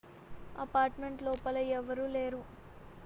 apartment లోపల ఎవరూ లేరు